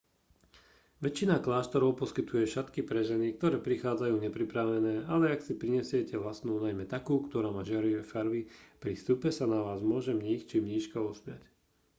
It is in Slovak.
väčšina kláštorov poskytuje šatky pre ženy ktoré prichádzajú nepripravené ale ak si prinesiete vlastnú najmä takú ktorá má žiarivé farby pri vstupe sa na vás môže mních či mníška usmiať